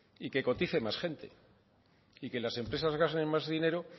y que cotice más gente y que las empresas gasten más dinero